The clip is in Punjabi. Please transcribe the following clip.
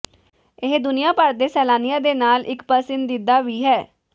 ਇਹ ਦੁਨੀਆਂ ਭਰ ਦੇ ਸੈਲਾਨੀਆਂ ਦੇ ਨਾਲ ਇੱਕ ਪਸੰਦੀਦਾ ਵੀ ਹੈ